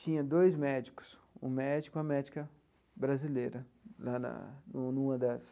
Tinha dois médicos, um médico e uma médica brasileira, lá na numa das.